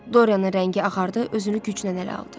Doryanın rəngi ağardı, özünü güclə ələ aldı.